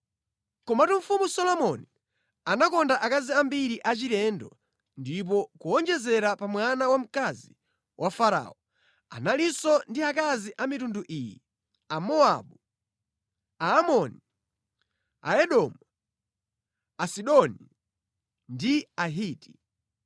Komatu Mfumu Solomoni anakonda akazi ambiri achilendo ndipo kuwonjezera pa mwana wamkazi wa Farao, analinso ndi akazi a mitundu iyi: Amowabu, Aamoni, Aedomu, Asidoni, ndi Ahiti.